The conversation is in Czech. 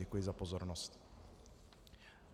Děkuji za pozornost.